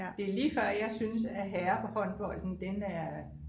det er lige før jeg synes at herrehåndbolden den er